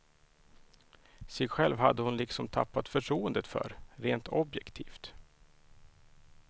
Sig själv hade hon liksom tappat förtroendet för, rent objektivt.